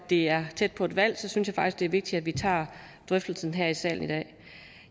det er tæt på et valg synes jeg faktisk at det er vigtigt at vi tager drøftelsen her i salen i dag